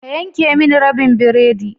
Ka yanke mini rabin biredi